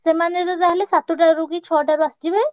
ସେମାନେ ତ ତାହେଲେ ସାତଟାରୁ କି ଛଅଟାରୁ ଆସିଯିବେ?